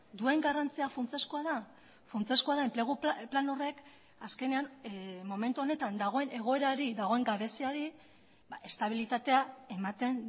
duen garrantzia funtsezkoa da funtsezkoa da enplegu plan horrek azkenean momentu honetan dagoen egoerari dagoen gabeziari estabilitatea ematen